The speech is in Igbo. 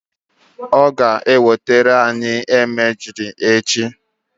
ọ ga-ewetara anyị emajli echi